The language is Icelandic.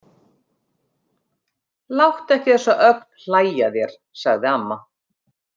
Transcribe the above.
Láttu ekki þessa ögn hlæja að þér, sagði amma.